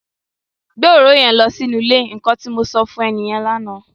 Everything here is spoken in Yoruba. Gbé òróró yẹn lọ sínú ile! Nnkan tí mo sọ fún e lánà nìyẹn.